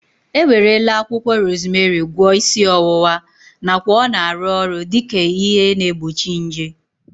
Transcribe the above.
E werela akwụkwọ rozmerị gwọọ isi ọwụwa nakwa ọ na-arụ ọrụ dike ihe na-egbochi nje